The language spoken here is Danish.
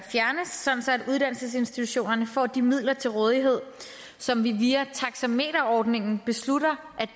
uddannelsesinstitutionerne får de midler til rådighed som vi via taxameterordningen beslutter